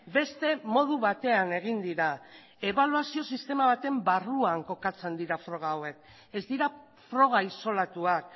beste modu batean egin dira ebaluazio sistema baten barruan kokatzen dira froga hauek ez dira froga isolatuak